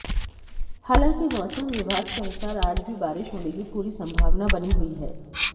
हालांकि मौसम विभाग के अनुसार आज भी बारिश होने की पूरी संभावना बनी हुई हैं